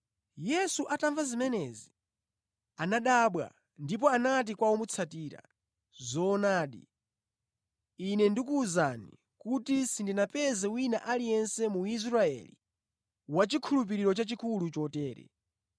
Yesu atamva zimenezi, anadabwa ndipo anati kwa omutsatira, “Zoonadi, Ine ndikuwuzani kuti sindinapeze wina aliyense mu Israeli wachikhulupiriro chachikulu chotere.